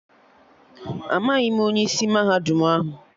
Amaghị m onye isi mahadum ahụ